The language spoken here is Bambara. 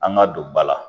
An ka don ba la